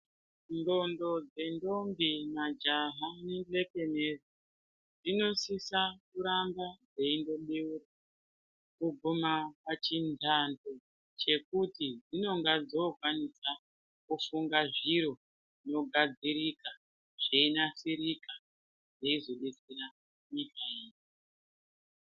Ndxondo dzendombi, majaha nebetenezi dzinosisa kuramba dzeindobeurwa kugumwa pachindando chekuti dzinonga dzokwanisa kufunga zviro zvinogadzirika zveinasirika zveizodetsera nyika yedu.